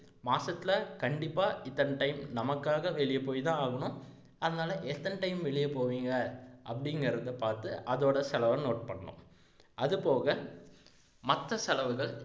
மாசத்துல கண்டிப்பா இத்தனை time நமக்காக வெளிய போய்தான் ஆகணும் அதனால எத்தனை time வெளிய போவீங்க அப்படீங்கிறதை பாத்து அதோட செலவை note பண்ணணும் அது போக மத்த செலவுகள்